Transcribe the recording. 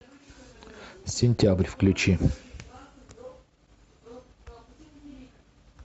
сентябрь включи